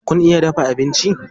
Kun iya dafa abinci?